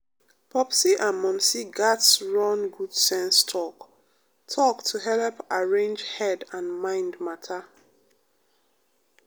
popsi and momsi gatz run good sense talk-talk to helep arrange head and mind matter.